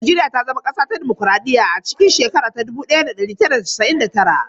Najeriya ta zama kasar dimokuraɗiyya a shekara ta dubu ɗaya da ɗari tara da casa'in da tara.